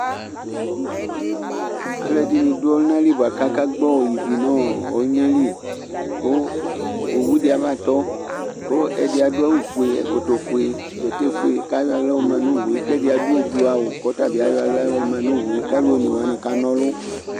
alʊɛɗɩnɩ ɗʊ ɔlʊnalɩ laƙaƙagɓɔ ɩʋɩ nʊ ɔlʊnaƴɛlɩ kʊ owʊɗɩa ɓatɔ ƙʊ ɛɗɩa ɗʊ awʊƒʊe ɛƙɔtɔƒʊe ɓɛtɛƒʊe ƙaƴɔahlama nɔwʊe ƙɛɗɩaɗʊ oɓloawʊ laƙɩɔtaɓɩaƴɔ ahla manɔwʊe laƙʊ alɔnewanɩ ƙanɔlʊ